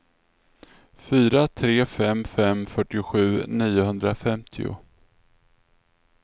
fyra tre fem fem fyrtiosju niohundrafemtio